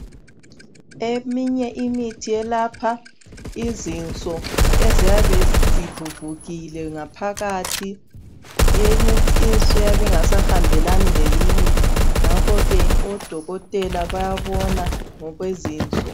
Eminye imithi elapha izinso eziyabe zivuvukile ngaphakathi inye inso iyabe ingasahambelani leyinye ngakho odokotela bayabona ngokwezinso.